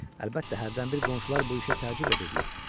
Əlbəttə, hərdən bir qonşular bu işə təəccüb edirdilər.